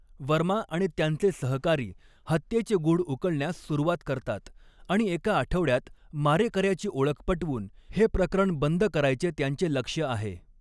वर्मा आणि त्यांचे सहकारी हत्येचे गूढ उकलण्यास सुरुवात करतात आणि एका आठवड्यात मारेकऱ्याची ओळख पटवून हे प्रकरण बंद करायचे त्यांचे लक्ष्य आहे.